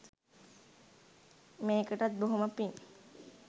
මේකටත් බොහොම පිං.